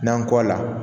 N'an kɔ a la